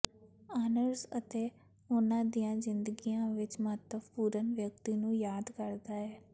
honours ਅਤੇ ਉਨ੍ਹਾਂ ਦੀਆਂ ਜ਼ਿੰਦਗੀਆਂ ਵਿਚ ਮਹੱਤਵਪੂਰਨ ਵਿਅਕਤੀ ਨੂੰ ਯਾਦ ਕਰਦਾ ਹੈ